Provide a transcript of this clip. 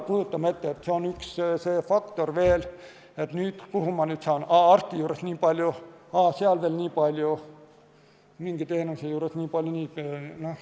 Kujutame ette – see on üks faktor veel –, et kus ma nüüd saan seda kasutada, arsti juures nii palju, mingi teenuse jaoks nii palju.